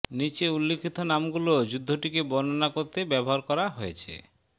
নিচে উল্লিখিত নামগুলো যুদ্ধটিকে বর্ণনা করতে ব্যবহার করা হয়েছেঃ